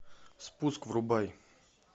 спуск врубай